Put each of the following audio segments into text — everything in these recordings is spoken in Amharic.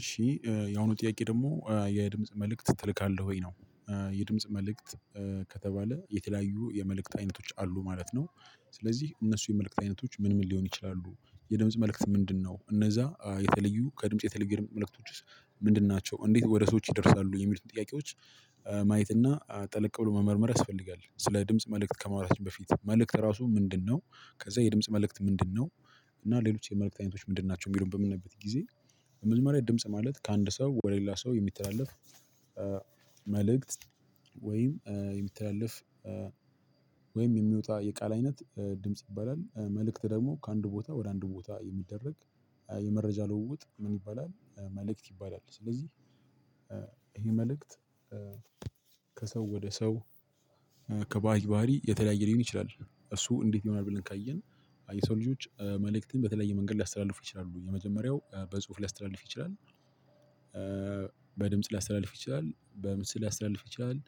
እሺ የአሁኑ ጥያቄ ደግሞ የድምጽ መልእክት ትልካለህ ወይ ነው? የድምጽ መልእክት ከተባለ የተለያዩ የመልእክት አይነቶች አሉ ማለት ነው። ስለዚህ እነሱ የመልእክት አይነቶች ምን ምን ሊሆኑ ይችላሉ? የድምጽ መልእክት ምንድነው? እነዛ የተለዩ ከድምጽ የተለዩ የድምጽ መልእክቶችስ ምንድን ናቸው? እንዴት ወደ ሰዎች ይደርሳሉ የሚሉትን ጥያቄዎች። ማየት እና ጠለቅ ብሎ መመርመር ያስፈልጋል። ስለ ድምጽ መልእክት ከማውራታችን በፊት መልእክት ራሱ ምንድነው? ከዛ የድምጽ መልእክት ምንድነው? እና ሌሎች የመልእክት አይነቶች ምንድን ናቸው የሚለውን በምነይበት ጊዜ። መጀመሪያ ድምጽ ማለት ከአንድ ሰው ወደ ሌላ ሰው የሚተላለፍ መልእክት ወይም የሚተላለፍ ወይም የሚወጣ የቃል አይነት ድምጽ ይባላል። መልእክት ደግሞ ከአንድ ቦታ ወደ አንድ ቦታ የሚደረግ የመረጃ ልውውጥ ምን ይባላል መልእክት ይባላል። ስለዚህ ይሄ መልእክት ከሰው ወደ ሰው ከባህሪ ባህሪ የተለያየ ሊሆን ይችላል። እሱ እንዴት ይሆናል ብለን ካየን። የሰው ልጆች መልእክትን በተለያየ መንገድ ሊያስተላልፉ ይችላሉ የመጀመሪያው በጽሁፍ ሊያስተላልፍ ይችላል። በድምጽ ሊያስተላልፍ ይችላል በምስል ሊያስተላልፍ ይችላል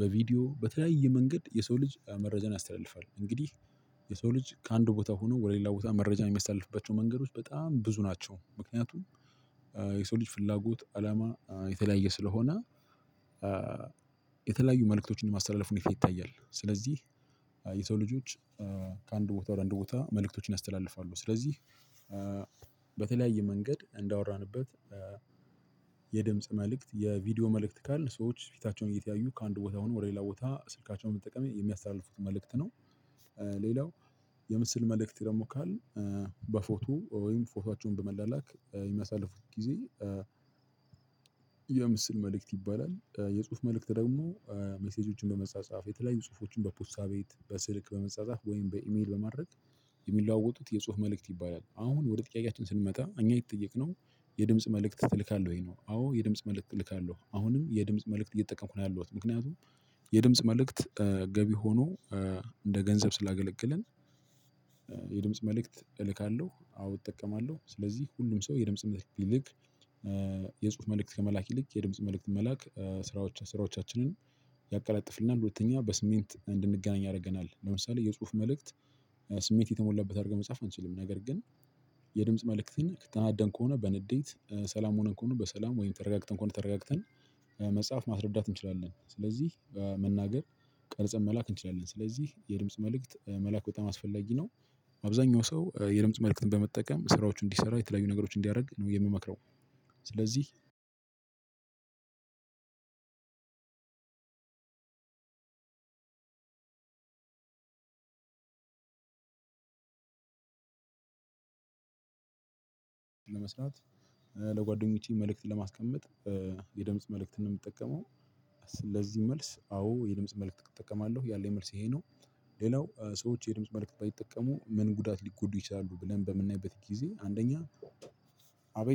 በቪዲዮ በተለያየ መንገድ የሰው ልጅ መረጃን ያስተላልፋል። እንግዲህ የሰው ልጅ ከአንድ ቦታ ሆኖ ወደ ሌላ ቦታ መረጃን የሚያስተለልፍባቸው መንገዶች በጣም ብዙ ናቸው። ምክንያቱም የሰው ልጅ ፍላጎት አላማ የተለያየ ስለሆነ። የተለያዩ መልእክቶችን ማስተላለፍ ይፈልጋል። ስለዚህ የሰው ልጆች ከአንድ ቦታ ወደ አንድ ቦታ መልእክቶችን ያስተላልፋሉ። ስለዚህ በተለያየ መንገድ እንዳወራንበት የድምጽ መልእክት የቪዲዮ መልእክት ካልን ሰዎች ፊታቸውን እየተያዩ ከአንድ ቦታ ሆነው ወደ ሌላ ቦታ ስልካቸውን በመጠቀም የሚያስተላልፉት መልእክት ነው። ሌላው የምስል መልእክት ደግሞ ካልን በፎቶ ወይም ፎቶአቸውን በመላላክ የሚያሳልፉት ጊዜ የምስል መልእክት ይባላል። የጽሁፍ መልእክት ደግሞ ሜሴጆችን በመጻጻፍ የተለያዩ ጽሁፎችን በፖስታ ቤት በስልክ በመጻጻፍ ወይም በኢሜል በማድረግ የሚለዋወጡት የጽሁፍ መልእክት ይባላል። አሁን ወደ ጥያቄያችን ስንመጣ እኛ የተጠየቅነው የድምጽ መልእክት ትልካለህ ወይ ነው? አዎ የድምጽ መልእክት እልካለሁ አሁንም የድምጽ መልእክት እየተጠቀምኩ ነው ያለሁት ምክንያቱም። የድምጽ መልእክት ገቢ ሆኖ እንደ ገንዘብ ስላገለገለን። የድምጽ መልእክት እልካለሁ አዎ እጠቀማለሁ። ስለዚህ ሁሉም ሰው የድምጽ መልእክት ቢልክ። የጽሁፍ መልእክት ከመላክ ይልቅ የድምጽ መልእክት መላክ ስራዎች ስራዎቻችንን ያቀላጥፍልናል። ሁለተኛ በስሜት እንድንገናኝ ያደርገናል ለምሳሌ የጽሁፍ መልእክት ስሜት የተሞላበት አድርገን መጻፍ አንችልም። ነገር ግን የድምጽ መልእክትን ከ ተናደን ከሆነ በንዴት ሰላም ሆነን ከሆነ በሰላም ወይም ተረጋግተን ከሆነ ተረጋግተን። መጻፍ ማስረዳት እንችላለን። ስለዚህ መናገር ቀርጸን መላክ እንችላለን። ስለዚህ የድምጽ መልእክት መላክ በጣም አስፈላጊ ነው። አብዛኛው ሰው የድምጽ መልእክትን በመጠቀም ስራዎቹን እንዲሰራ የተለያዩ ነገሮችን እንዲያደርግ ነው የምመክረው። ስለዚህ አንድ ለመስራት ለጓደኞቼ መልእክት ለማስቀመጥ የድምጽ መልእክትን ነው የምጠቀመው። ስለዚህ መልስ አዎ የድምጽ መልእክት እጠቀማለሁ ያለኝ መልስ ይሄ ነው። ሌላው ሰዎች የድምጽ መልእክት ባይጠቀሙ ምን ጉዳት ሊጎዱ ይችላሉ ብለን በምናይበት ጊዜ። አንደኛ አቤት